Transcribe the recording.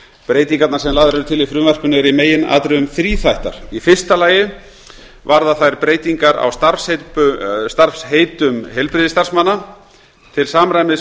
breytingarnar sem lagðar eru til í frumvarpinu eru í meginatriðum þríþættar í fyrsta lagi varða þær breytingar á starfsheitum heilbrigðisstarfsmanna til samræmis